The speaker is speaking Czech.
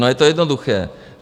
No, je to jednoduché.